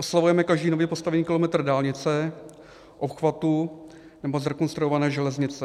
Oslavujeme každý nově postavený kilometr dálnice, obchvatu nebo zrekonstruované železnice.